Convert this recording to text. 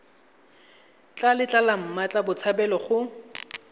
tla letla mmatla botshabelo go